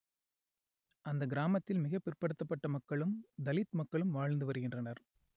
அந்த கிராமத்தில் மிக பிற்படுத்தப்பட்ட மக்களும் தலித் மக்களும் வாழ்ந்து வருகின்றனர்